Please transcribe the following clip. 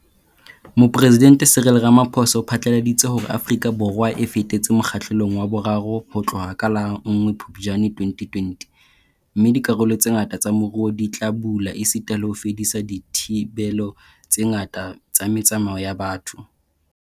Mopresidente Cyril Ramaphosa o phatlaladitse hore Afrika Borwa e fetetse Mo kgahlelong wa boraro ho tloha ka la nngwe Phuptjane 2020 - mme dikarolo tse ngata tsa moruo di tla bula esita le ho fedisa dithibelo tse ngata tsa me tsamao ya batho.